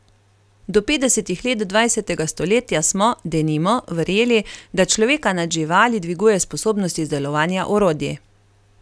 Do petdesetih let dvajsetega stoletja smo, denimo, verjeli, da človeka nad živali dviguje sposobnost izdelovanja orodij.